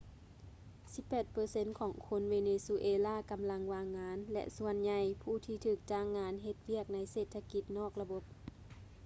ສິບແປດເປີເຊັນຂອງຄົນເວເນຊູເອລາກໍາລັງວ່າງງານ ແລະ ສ່ວນໃຫຍ່ຜູ້ທີ່ຖືກຈ້າງງານເຮັດວຽກໃນເສດຖະກິດນອກລະບົບ